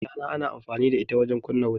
ashana ana amfani da ita wajen kumna wuta